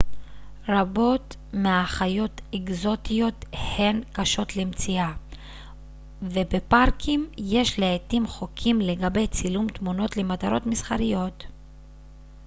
רבות מהחיות אקזוטיות הן קשות למציאה ובפארקים יש לעתים חוקים לגבי צילום תמונות למטרות מסחריות